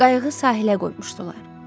Qayığı sahilə qoymuşdular.